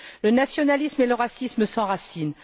Le nationalisme et le racisme s'enracinent.